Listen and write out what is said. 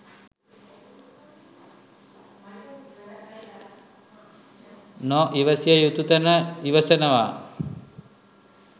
නො ඉවසිය යුතු තැන ඉවසනව.